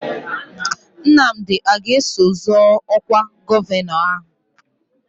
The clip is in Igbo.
Nnamdi a ga-eso zọọ ọkwa gọvanọ ahụ?